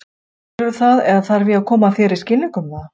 Skilurðu það eða þarf ég að koma þér í skilning um það?